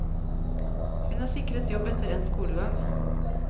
Hun er sikret jobb etter endt skolegang.